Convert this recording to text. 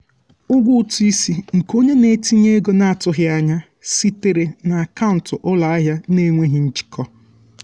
ụgwọ ụtụ isi nke onye na-etinye ego na-atụghị anya ya sitere um na akaụntụ ụlọ ahịa na-enweghị njikọ.